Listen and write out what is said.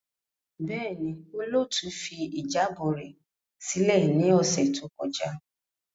Bẹẹni, olootu fi ijabọ rẹ silẹ ni ọsẹ to kọja.